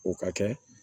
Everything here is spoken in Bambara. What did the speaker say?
O ka kɛ